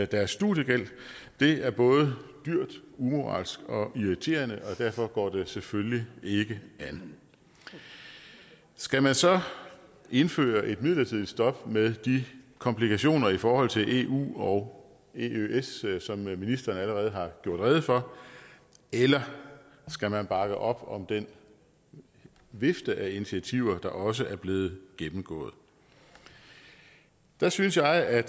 deres studiegæld det er både dyrt umoralsk og irriterende og derfor går det selvfølgelig ikke an skal man så indføre et midlertidigt stop med de komplikationer i forhold til eu og eøs som ministeren allerede har gjort rede for eller skal man bakke op om den vifte af initiativer der også er blevet gennemgået der synes jeg at